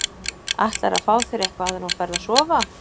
Ætlarðu að fá þér eitthvað áður en þú ferð að sofa?